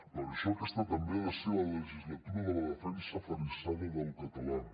per això aquesta també ha de ser la legislatura de la defensa aferrissada del català